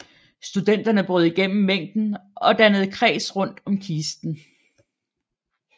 Studenterne brød igennem mængden og dannede kreds rundt om kisten